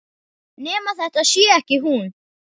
Nema þetta sé ekki hún.